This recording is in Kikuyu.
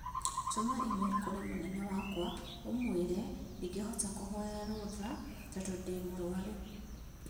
Tũma i-mīrū kũrĩ munene wakwa ũmũĩ re ndingĩhota kũhoya rũtha tondũ ndĩ mũrũaru